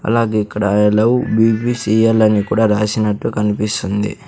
అలాగే ఇక్కడ I love BBCL అని కూడా రాసినట్లు కనిపిస్తుంది.